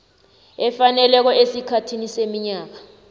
efaneleko esikhathini seminyaka